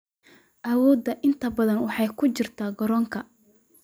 Awooddu inta badan waxay ku jirtaa garoonka.